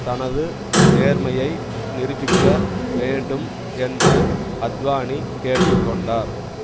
தனது நேர்மையை நிருபிக்க வேண்டும் என்று அத்வானி கேட்டு கொண்டார்